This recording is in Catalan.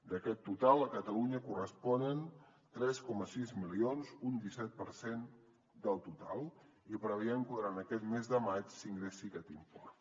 d’aquest total a catalunya li corresponen tres coma sis milions un disset per cent del total i preveiem que durant aquest mes de maig s’ingressi aquest import